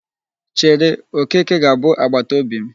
Chere, Okeke ga-abụ agbataobi m.